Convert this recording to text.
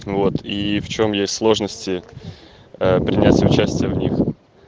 вот и в чём есть сложности а принять участие в них